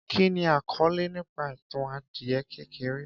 Kí ni àkọọlẹ nípa ìtàn adìẹ kékeré